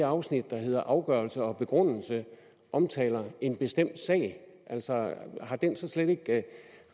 afsnit der hedder afgørelse og begrundelse omtaler en bestemt sag har den slet ikke